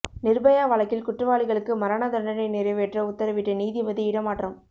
நிர்பயா வழக்கில் குற்றவாளிகளுக்கு மரண தண்டனை நிறைவேற்ற உத்தரவிட்ட நீதிபதி இடமாற்றம்